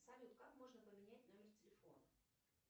салют как можно поменять номер телефона